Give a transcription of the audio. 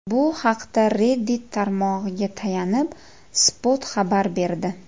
Bu haqda Reddit tarmog‘iga tayanib, Spot xabar berdi .